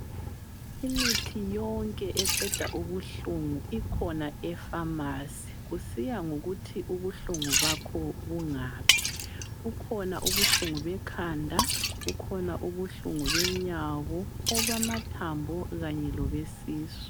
Imithi yonke eqeda ubuhlungu ikhona epharmacy, kusiya ngokuthi ubuhlungu bakho bungaphi. Kukhona ubuhlungu bekhanda, kukhona ubuhlungu benyawo, obama thambo kanye lobesisu.